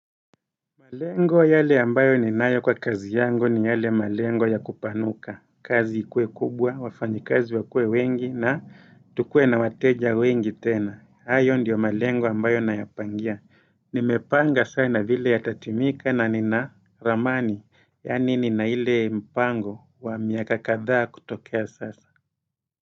Malengo yale ambayo ninayo kwa kazi yangu ni yale malengo ya kupanuka, kazi ikuwe kubwa, wafanyi kazi wakuwe wengi na tukue na wateja wengi tena, hayo ndiyo malengo ambayo nayapangia nimepanga sana vile yatatimika na nina ramani, yaani nina ile mpango wa miaka kadhaa kutokea sasa.